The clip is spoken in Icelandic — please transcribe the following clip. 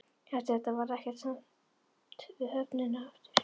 Eftir þetta varð ekkert samt við höfnina aftur.